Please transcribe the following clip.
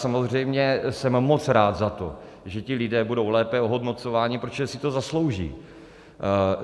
Samozřejmě jsem moc rád za to, že ti lidé budou lépe ohodnocováni, protože si to zaslouží.